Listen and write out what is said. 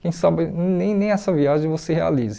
Quem sabe nem nem essa viagem você realize.